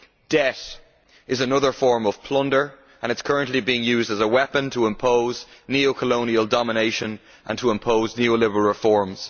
Debt is another form of plunder, and it is currently being used as a weapon to impose neo colonial domination and neo liberal reforms.